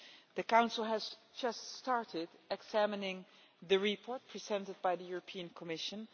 The Council has just started examining the report presented by the Commission